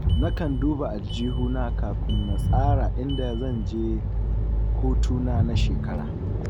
Nakan duba aljihuna kafin na tsara inda zan je hutuna na shekara